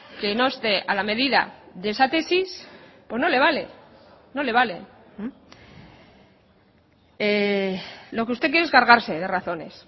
que no esté a la medida de esa tesis no le vale no le vale lo que usted quiere es cargarse de razones